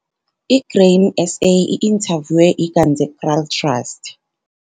I-Grain SA i-inthavywe iGanzekraal Trust.